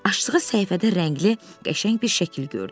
Açdığı səhifədə rəngli, qəşəng bir şəkil gördü.